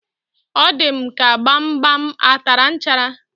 O di m ka gbamgbam a tara nchara